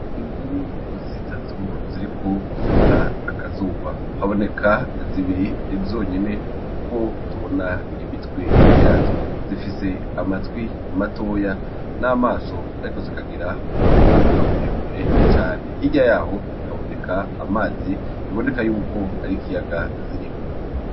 Imvubu zitatu ziriko zota akazuba, haboneka zibiri zonyene kuko tubona imitwe yazo. Zifise amatwi matoya n'amaso ariko zikagira umunwa muremure cane, hirya yaho haboneka amazi biboneka yuko ar'ikiyaga zirimwo.